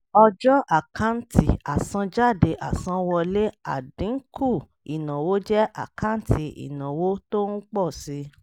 ọjọ́ àkáǹtì àsanjáde àsanwọlé àdínkù ìnáwó jẹ́ àkáǹtì ìnáwó tó ń pọ̀ si.